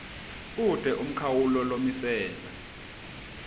kute umkhawulo lomiselwe